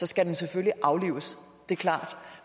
skal den selvfølgelig aflives det er klart